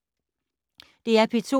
DR P2